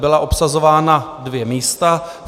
Byla obsazována dvě místa.